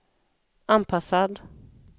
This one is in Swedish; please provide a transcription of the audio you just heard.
anpassad